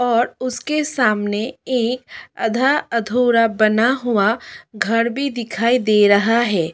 और उसके सामने एक अधा अधूरा बना हुआ घर भी दिखाई दे रहा है।